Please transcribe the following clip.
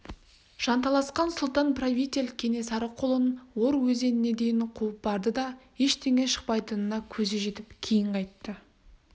жанталасқан сұлтан-правитель кенесары қолын ор өзеніне дейін қуып барды да ештеңе шықпайтынына көзі жетіп кейін қайтты